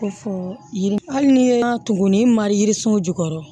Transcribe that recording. Ko fɔ yiri hali ni ye tugunni ni marisun jukɔrɔ